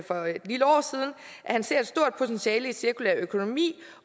han ser et stort potentiale i en cirkulær økonomi